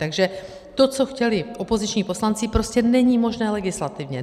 Takže to, co chtěli opoziční poslanci, prostě není možné legislativně.